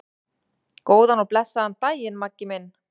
Góðan og blessaðan daginn, Maggi minn.